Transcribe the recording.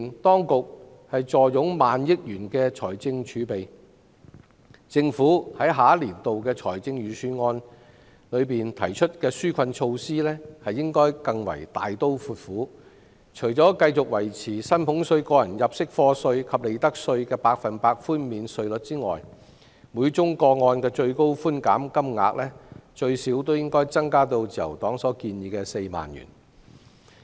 當局既然坐擁萬億元財政儲備，在下一個年度的預算案中提出紓困措施時，應該更為大刀闊斧，除維持薪俸稅、個人入息課稅及利得稅的百分百寬免比率外，每宗個案的最高寬減金額亦應最少增加至自由黨建議的4萬元。